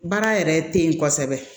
Baara yɛrɛ te yen kosɛbɛ